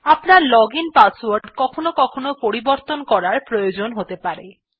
আপনার login password কখনও কখনও পরিবর্তন করার প্রয়োজন হতে পারে